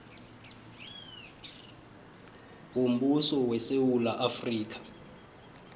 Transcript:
yombuso wesewula afrika